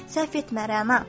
Səhv etmə, Rəna.